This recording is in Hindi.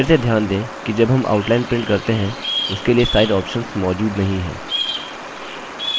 फिर से ध्यान दें कि जब हम outline print करते हैं उसके लिए size options मौजूद नहीं हैं